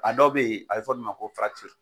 A dɔ be yen , a be fɔ olu ma ko